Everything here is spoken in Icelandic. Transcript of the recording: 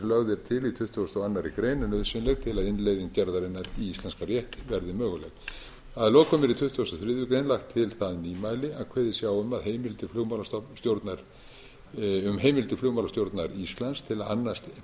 lögð er til í tuttugasta og aðra grein er nauðsynleg til að innleiðing gerðarinnar í íslenskan rétt verði möguleg að lokum er í tuttugasta og þriðju grein lagt til það nýmæli að kveðið sé á um heimild til flugmálastjórnar íslands til að